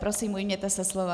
Prosím, ujměte se slova.